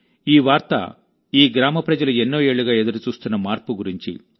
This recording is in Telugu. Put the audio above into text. ఈ వార్త ఈ గ్రామ ప్రజలు ఎన్నో ఏళ్లుగా ఎదురు చూస్తున్న మార్పు గురించి